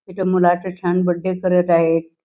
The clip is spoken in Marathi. इथ एका मुलाचा छान बर्थडे करत आहेत.